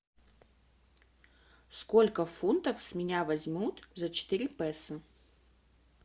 сколько фунтов с меня возьмут за четыре песо